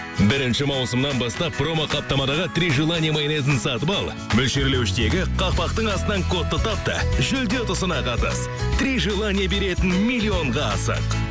бірінші маусымнан бастап промоқаптамадағы три желание майонезін сатып ал мөлшерлеуіштегі қақпақтың астынан кодты тап та жүлде ұтысына қатыс три желание беретін миллионға асық